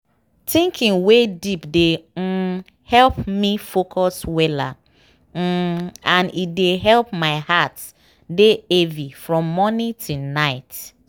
thinking wey deep dey um help me focus weller um and e dey help my heart dey heavy from morning till night.